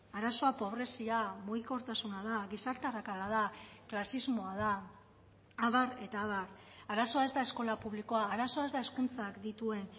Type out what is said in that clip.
arazoa pobrezia mugikortasuna da gizarte arrakala da klasismoa da abar eta abar arazoa ez da eskola publikoa arazoa ez da hezkuntzak dituen